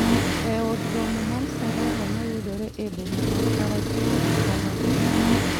e Od Romo mar Sarova ma yudore e boma ma Karachuonyo, Homabay.